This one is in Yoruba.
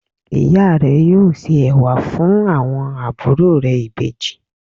Ìya rẹ̀ yóò se ẹ̀wà fun àwọn àbúrò rẹ̀ Ìbejì